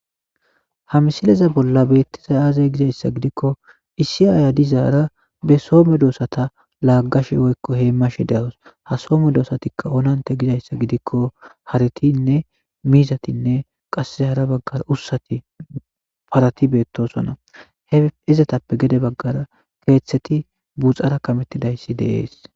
ha misileza bolla beettiza aazey gizayssa gidikko isiyaaya dizaara be soome doosata laaggash woykko hee mashe dealos ha soome doosatikka onante gizayssa gidikko haritinne mizatinne qasse hara baggara ussati parati beettosonna he izatappe gede baggara keeththeti buxara kamettidayssi deees